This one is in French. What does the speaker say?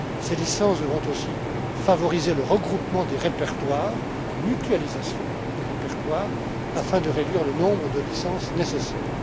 Ces licences devront aussi favoriser le regroupement des répertoires, la mutualisation des répertoires, afin de réduire le nombre de licences nécessaires.